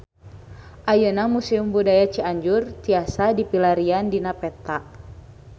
Ayeuna Museum Budaya Cianjur tiasa dipilarian dina peta